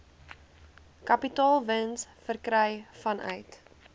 kapitaalwins verkry vanuit